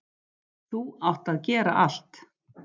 ÞÚ ÁTT AÐ GERA ALLT.